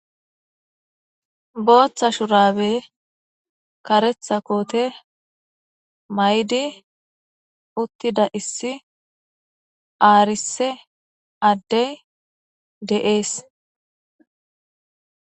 booththa shurabe karetha koote maydi uttida issi aarise addey de'ees